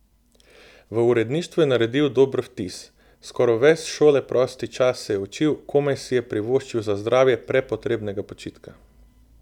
V uredništvu je naredil dober vtis: 'Skoro ves šole prosti čas se je učil, komaj si je privoščil za zdravje prepotrebnega počitka.